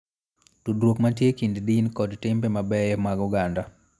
Tudruok mantie e kind din kod timbe mabeyo mag oganda